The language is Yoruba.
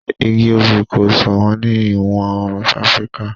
igi obì kò sọ̀wọ́n ní ìwọ̀-oòrùn áfríkà